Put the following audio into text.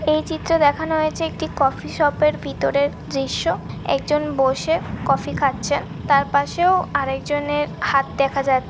এই চিত্রে দেখানো হয়েছে একটি কফি শপ এর ভিতরের দৃশ্য। একজন বসে কফি খাচ্ছে। তার পাশেও আর একজনের হাত দেখা যাছ --